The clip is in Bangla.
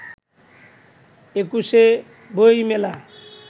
একুশে বইমেলা